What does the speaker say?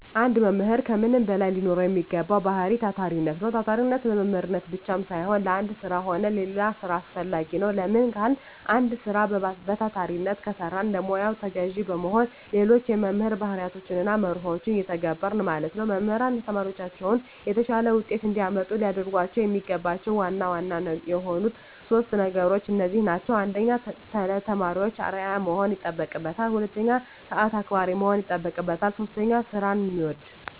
አንድ መምህር ከምንም በላይ ሊኖረዉ የሚገባዉ ባህሪይ ታታሪነት ነዉ። ታታሪነት ለመምህርነት ብቻም ሳይሆን ለአንድ ስራ ሆነ ለሌላ ስራ አስፈላጊ ነዉ። ለምን ካልን አንድ ስራ በታታሪነት ከሰራን ለሙያዉ ተገዢ በመሆን ሌሎች የመምህር ባህርያትንና መርሆችን እንተገብረለን ማለት ነዉ። መምህራን ተማሪዎቻቸውን የተሻለ ዉጤት እንዲያመጡ ሊያደርጓቸዉ የሚገባቸዉ ዋና ዋና የሆኑት 3 ነገሮች እነዚህ ናቸዉ። 1. ለተማሪዎች አርዕያ መሆን ይጠበቅበታል። 2. ሰአት አክባሪ መሆን ይጠበቅበታል። 3. ስራዉን የሚወድ።